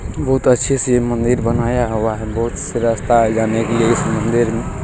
बहुत अच्छे से ये मंदिर बनाया हुआ है। बहुत से रास्ता है जाने के लिए इस मंदिर में --